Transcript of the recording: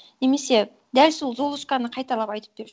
немесе дәл сол золушканы қайталап айтып берші